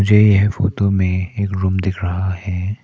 ये यह फोटो में एक रूम दिख रहा है।